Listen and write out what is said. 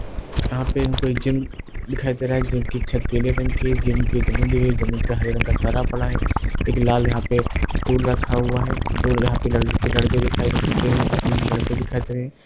यहां पर हमको एक जिम दिखाई दे रही है जिम की छत पीले रंग की है जिम की जमीन दिखाई दे रही है जमीन पर हरे रंग का तारा पड़ा है एक लाल यहां पे स्टूल रखा हुआ है दो यहां पे लड़ लड़के दिखाई तीन लड़के दिखाई दे रहे हैं।